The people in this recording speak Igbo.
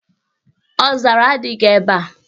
Ọzara adịghị ebe a.